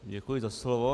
Děkuji za slovo.